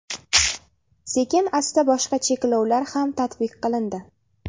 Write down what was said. Sekin-asta boshqa cheklovlar ham tatbiq qilindi.